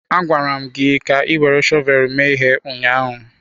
Agwara m gi ka ị were shọvel mee ihe ụnyaahụ!